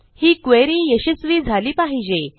ही query यशस्वी झाली पाहिजे